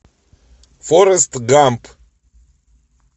форрест гамп